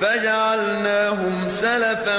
فَجَعَلْنَاهُمْ سَلَفًا